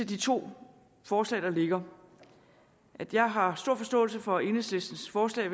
de to forslag der ligger at jeg har stor forståelse for enhedslistens forslag